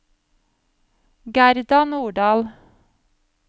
Gerda Nordahl